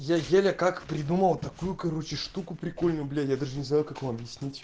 я еле как придумал такую короче штуку прикольную блять я даже не знаю как вам объяснить